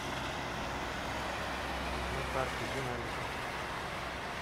на карте динамика